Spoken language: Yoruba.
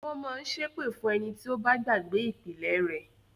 Wọ́n mọ ń ṣépè fún ẹni tí ó bá gbàgbé “ìpìlẹ̀” rẹ̀.